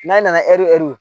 N'a nana ɛri ɛri